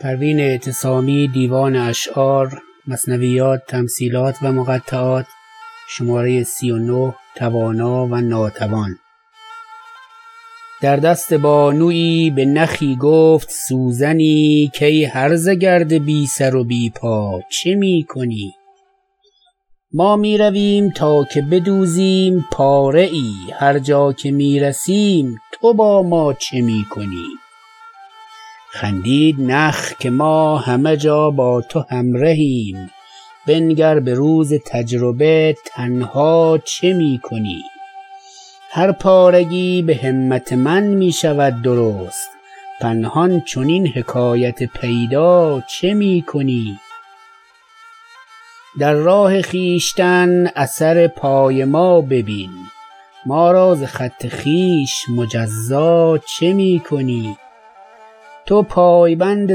در دست بانویی به نخی گفت سوزنی کای هرزه گرد بی سر و بی پا چه می کنی ما میرویم تا که بدوزیم پاره ای هر جا که میرسیم تو با ما چه می کنی خندید نخ که ما همه جا با تو همرهیم بنگر به روز تجربه تنها چه می کنی هر پارگی به همت من میشود درست پنهان چنین حکایت پیدا چه می کنی در راه خویشتن اثر پای ما ببین ما را ز خط خویش مجزا چه می کنی تو پایبند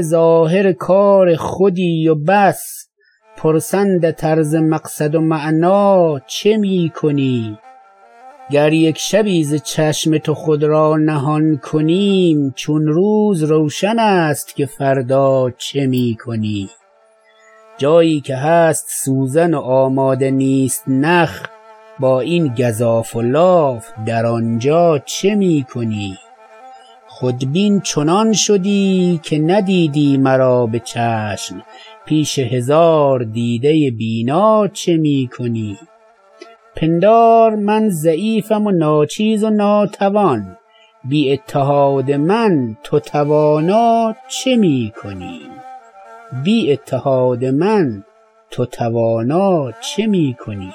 ظاهر کار خودی و بس پرسندت ار ز مقصد و معنی چه می کنی گر یک شبی ز چشم تو خود را نهان کنیم چون روز روشن است که فردا چه می کنی جایی که هست سوزن و آماده نیست نخ با این گزاف و لاف در آنجا چه می کنی خودبین چنان شدی که ندیدی مرا بچشم پیش هزار دیده بینا چه می کنی پندار من ضعیفم و ناچیز و ناتوان بی اتحاد من تو توانا چه می کنی